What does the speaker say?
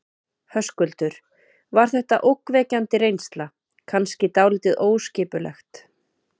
Höskuldur: Var þetta ógnvekjandi reynsla, kannski dálítið óskipulegt?